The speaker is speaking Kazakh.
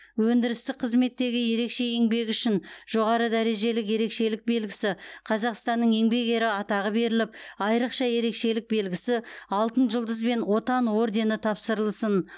өндірістік қызметтегі ерекше еңбегі үшін жоғары дәрежелі ерекшелік белгісі қазақстанның еңбек ері атағы беріліп айрықша ерекшелік белгісі алтын жұлдыз бен отан ордені тапсырылсын